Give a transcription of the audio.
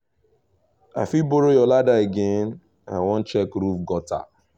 i fit borrow your ladder again? i wan check roof gutter